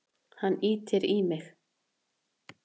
Hann ýtir í mig.